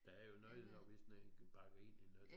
Der er jo noget når hvis den bakker ind i noget